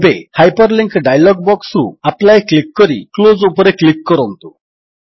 ଏବେ hyperlink dialogue ବକ୍ସରୁ apply click କରି କ୍ଲୋଜ୍ ଉପରେ କ୍ଲିକ୍ କରନ୍ତୁ